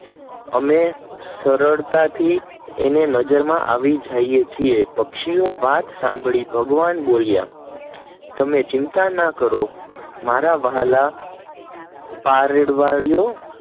અમે સરળતા થી નજર માં આવી જઈએ છે પક્ષીઓ વાત સાંભળી ભગવાન બોલ્યા તમે ચિંતા ના કરો મારા વ્હાલા પારેવાડીયો